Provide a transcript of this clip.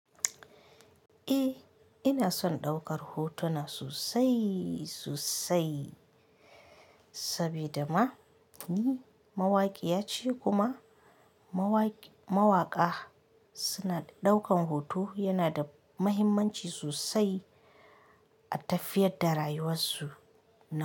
Eh, ina son ɗaukar hotuna sosai sosai, saboda ma ni mawaƙiya ce kuma mawakiya mawaƙa suna ɗaukan hoto yana da mahimmanci sosai a tafiyar da rayuwarsu na.